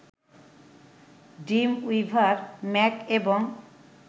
Dreamweaver Mac এবং